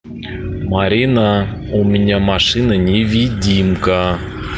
марина у меня машина невидимка